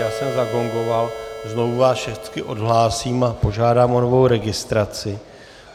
Já jsem zagongoval, znovu vás všechny odhlásím a požádám o novou registraci.